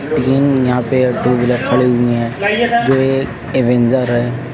तीन यहां पे टू व्हीलर खड़े हुए हैं जो एक अवेंजर है।